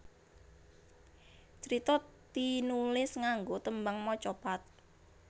Crita tinulis nganggo tembang macapat